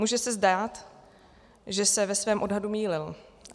Může se zdát, že se ve svém odhadu mýlil.